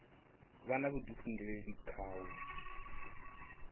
vha na vhudifhinduleli kha u